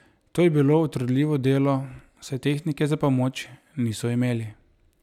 To je bilo utrudljivo delo, saj tehnike za pomoč niso imeli.